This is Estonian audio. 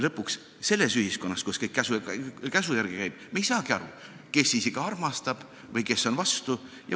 Lõpuks ei saa me selles ühiskonnas, kus kõik käsu järgi käib, aru, kes siis ikka armastab või kes on vastu.